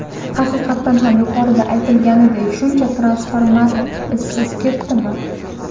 Haqiqatan ham yuqorida aytilganidek shuncha transformator izsiz ketdimi?